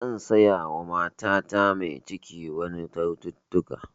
Zan siya wa matata mai ciki wasu kyaututtuka